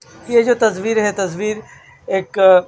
यह जो तस्वीर है तस्वीर एक--